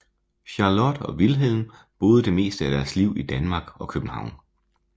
Charlotte og Wilhelm boede det meste af deres liv i Danmark og København